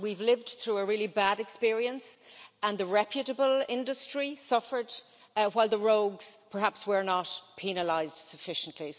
We've lived through a really bad experience and the reputable industry suffered, while the rogues perhaps were not penalised sufficiently.